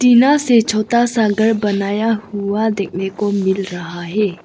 टीना से छोटा सा घर बनाया हुआ देखने को मिल रहा है।